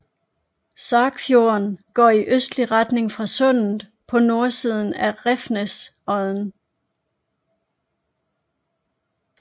Sagfjorden går i østlig retning fra sundet på nordsiden af Revsnesodden